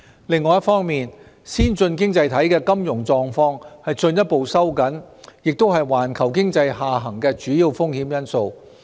另一方面，先進經濟體的金融狀況進一步收緊亦是環球經濟下行的主要風險因素。